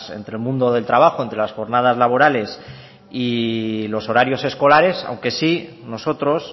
entre el mundo del trabajo entre las jornadas laborales y los horarios escolares aunque sí nosotros